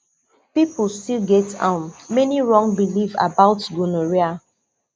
people still get um many wrong belief about gonorrhea